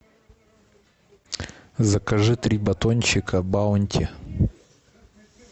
закажи три батончика баунти